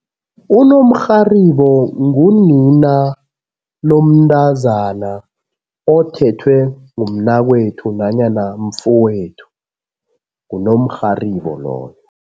Unomrharibo ngunina lomntazana othethwe ngumnakwethu nanyana mfowethu, ngunomrharibo loyo.